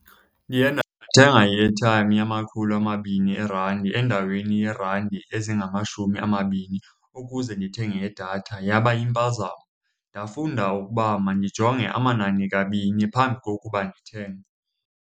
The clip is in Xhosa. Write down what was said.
Ndiye ndathenga i-airtime yamakhulu amabini eerandi endaweni yeerandi ezingamashumi amabini ukuze ndithenge idatha. Yaba yimpazamo. Ndafunda ukuba mandijonge amanani kabini phambi kokuba ndithenge.